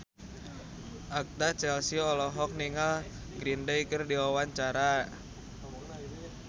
Agatha Chelsea olohok ningali Green Day keur diwawancara